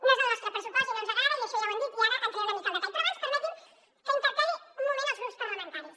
no és el nostre pressupost i no ens agrada això ja ho hem dit i ara hi entraré una mica al detall però abans permeti’m que interpel·li un moment els grups parlamentaris